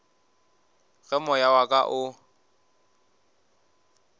ge moya wa ka o